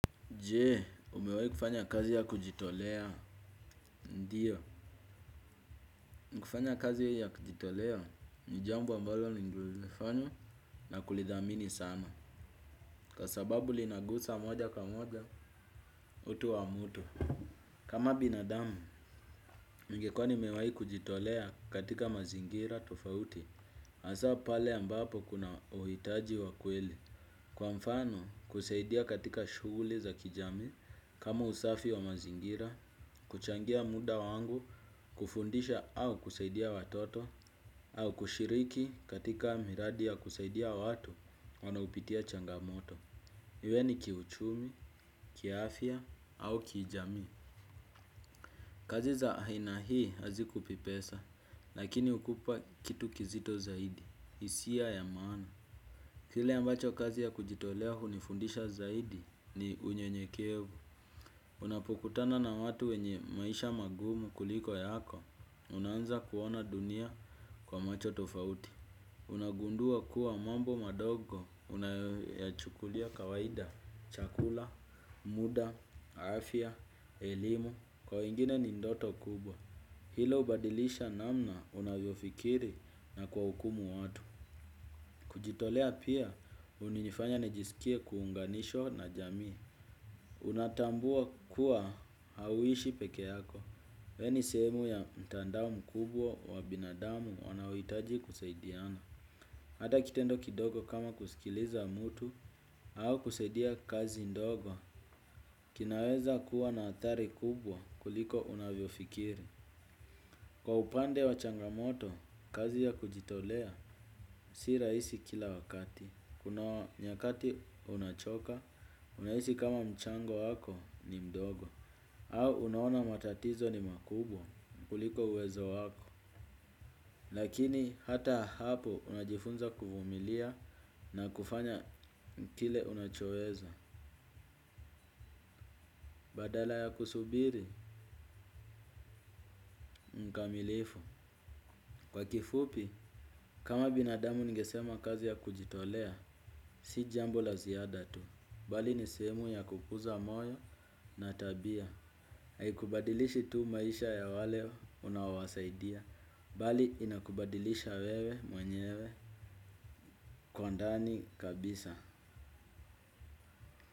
Je, umewahi kufanya kazi ya kujitolea, ndiyo. Kufanya kazi ya kujitolea ni jambo ambalo nililolifanya na kulithamini sana. Kwa sababu linagusa moja kwa moja utu wa mtu. Kama binadamu, ningekuwa nimewahi kujitolea katika mazingira tofauti, hasa pale ambapo kuna uhitaji wa kweli. Kwa mfano, kusaidia katika shughuli za kijamii, kama usafi wa mazingira, kuchangia muda wangu, kufundisha au kusaidia watoto, au kushiriki katika miradi ya kusaidia watu wanaopitia changamoto. Iwe ni kiuchumi, kiafya au kijamii. Kazi za aina hii hazikupi pesa, lakini hukupa kitu kizito zaidi, hisia ya maana. Kile ambacho kazi ya kujitolea hunifundisha zaidi ni unyenyekevu. Unapokutana na watu wenye maisha magumu kuliko yako, unaanza kuona dunia kwa macho tofauti. Unagundua kuwa mambo madogo unayoyachukulia kawaida, chakula, muda, afya, elimu, kwa wengine ni ndoto kubwa. Hilo hubadilisha namna unavyofikiri na kuwahukumu watu. Jitolea pia hunifanya nijisikie kuunganishwa na jamii. Unatambua kuwa hauishi peke yako. Wewe ni sehemu ya mtandao mkubwa wa binadamu wanaohitaji kusaidiana. Hata kitendo kidogo kama kusikiliza mtu au kusaidia kazi ndogo. Kinaweza kuwa na athari kubwa kuliko unavyofikiri. Kwa upande wa changamoto, kazi ya kujitolea si rahisi kila wakati. Kuna nyakati unachoka, unahisi kama mchango wako ni mdogo. Au unaona matatizo ni makubwa kuliko uwezo wako. Lakini hata hapo unajifunza kuvumilia na kufanya kile unachoweza. Badala ya kusubiri, mkamilifu kwa kifupi kama binadamu ningesema kazi ya kujitolea si jambo la ziada tu bali ni sehemu ya kukuza moyo na tabia. Haikubadilishi tu maisha ya wale unaowasaidia bali inakubadilisha wewe mwenyewe kwa ndani kabisa.